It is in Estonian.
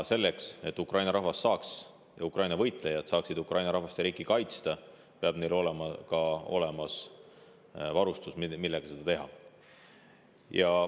Selleks, et Ukraina võitlejad saaksid Ukraina rahvast ja riiki kaitsta, peab neil olema varustus, millega seda teha.